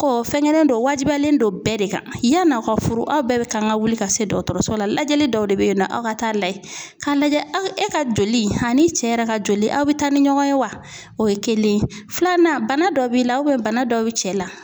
fɛn kelen don, o wajibiyalen don bɛɛ de kan. Yanni aw ka furu aw bɛɛ bɛ kan ka wuli ka se dɔgɔtɔrɔso la. Lajɛli dɔw de bɛ ye nɔ aw ka taa lajɛ, k'a lajɛ e ka joli ani cɛ yɛrɛ ka joli aw bɛ taa ni ɲɔgɔn ye wa? O ye kelen ye, filanan bana dɔ b'i la bana dɔ bɛ cɛ la.